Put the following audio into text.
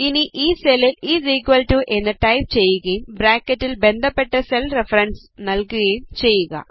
ഇനി ഈ സെല്ലിൽis ഇക്വൽ ടോ എന്ന് ടൈപ് ചെയ്യുകയും ബ്രാക്കറ്റിൽ ബന്ധപ്പെട്ട സെൽ റഫറൻസ് നല്കുകയും ചെയ്യുക